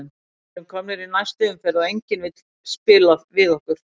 Við erum komnir í næstu umferð og enginn vill spila við okkur.